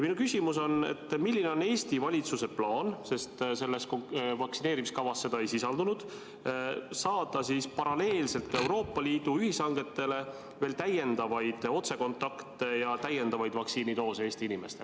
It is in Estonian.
Minu küsimus on: milline on Eesti valitsuse plaan – selles vaktsineerimiskavas seda ei sisaldunud – saada paralleelselt Euroopa Liidu ühishangetega veel lisaks otsekontakte ja Eesti inimestele vaktsiinidoose juurde?